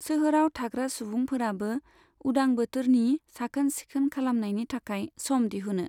सोहोराव थाग्रा सुबुंफोराबो, उदां बोथोरनि साखोन सिखोन खालामनायनि थाखाय सम दिहुनो।